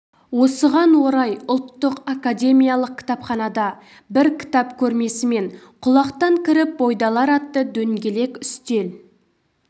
осыған орай ұлттық академиялық кітапханада бір кітап көрмесі мен құлақтан кіріп бойды алар атты дөңгелек үстел